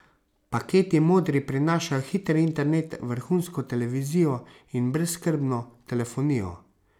Paketi Modri prinašajo hiter internet, vrhunsko televizijo in brezskrbno telefonijo.